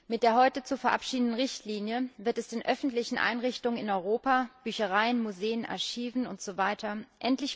Mit der heute zu verabschiedenden Richtlinie wird es den öffentlichen Einrichtungen in Europa Büchereien, Museen, Archiven usw.